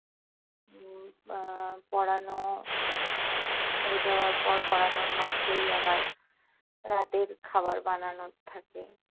উম আহ পড়ানো মেয়েকে আবার পড়~ পড়ানোর মাঝেই আবার রাতের খাবার বানানোর থাকে।